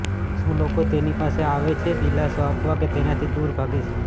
શું લોકો તેની પાસે આવે છે દિલાસો આપવા કે તેનાથી દૂર ભાગે છે